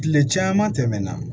Tile caman tɛmɛna